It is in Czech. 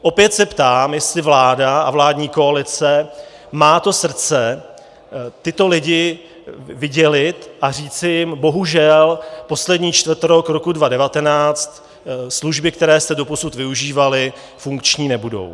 Opět se ptám, jestli vláda a vládní koalice má to srdce tyto lidi vydělit a říci jim: bohužel, poslední čtvrtrok roku 2019 služby, které jste doposud využívali, funkční nebudou.